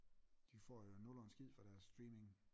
De får jo nul og en skid for deres streaming